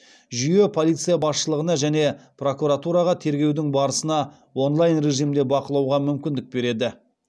жүйе полиция басшылығына және прокуратураға тергеудің барысына онлайн режимінде бақылауға мүмкіндік береді